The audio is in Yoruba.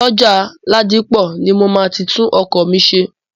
Ọjà Ládípọ̀ ni mo máa ti tún ọkọ̀ mi ṣe.